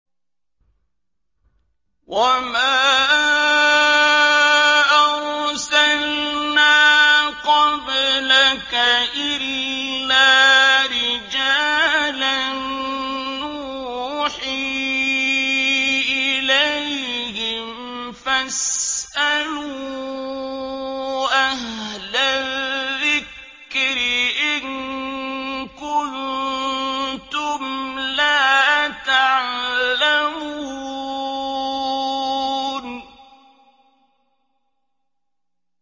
وَمَا أَرْسَلْنَا قَبْلَكَ إِلَّا رِجَالًا نُّوحِي إِلَيْهِمْ ۖ فَاسْأَلُوا أَهْلَ الذِّكْرِ إِن كُنتُمْ لَا تَعْلَمُونَ